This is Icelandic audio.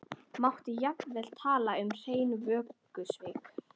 Mátti jafnvel tala um hrein vörusvik.